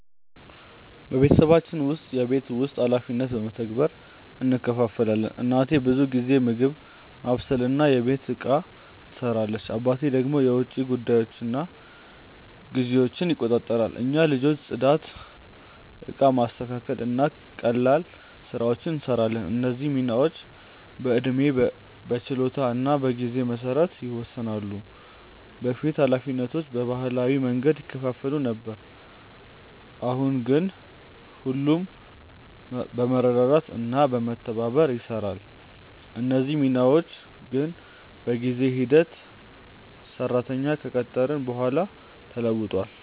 በቤተሰባችን ውስጥ የቤት ውስጥ ኃላፊነቶች በመተባበር እንከፋፈላለን። እናቴ ብዙ ጊዜ ምግብ ማብሰልና የቤት ፅዳት ትሰራለች፣ አባቴ ደግሞ የውጭ ጉዳዮችንና ግዢዎችን ይቆጣጠራሉ። እኛ ልጆች ጽዳት፣ እቃ ማስተካከል እና ቀላል ስራዎችን እንሰራለን። እነዚህ ሚናዎች በዕድሜ፣ በችሎታ እና በጊዜ መሰረት ይወሰናሉ። በፊት ኃላፊነቶቹ በባህላዊ መንገድ ይከፋፈሉ ነበር፣ አሁን ግን ሁሉም በመረዳዳት እና በመተባበር ይሰራሉ። እነዚህ ሚናዎች ግን በጊዜ ሂደት ሰራተኛ ከቀጠርን በኋላ ተለውጧል።